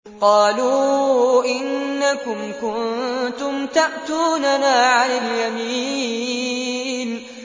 قَالُوا إِنَّكُمْ كُنتُمْ تَأْتُونَنَا عَنِ الْيَمِينِ